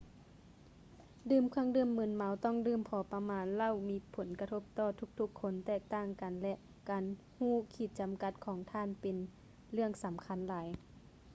ດື່ມເຄື່ອງດື່ມມຶນເມົາຕ້ອງດື່ມພໍປະມານ ເຫຼົ້າມີຜົນກະທົບຕໍ່ທຸກໆຄົນແຕກຕ່າງກັນ ແລະ ການຮູ້ຂີດຈຳກັດຂອງທ່ານນັ້ນເປັນເລື່ອງສຳຄັນຫຼາຍ